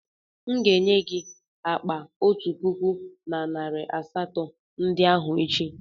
M ga-enye gị akpa otu puku na narị asatọ ndị ahụ echi.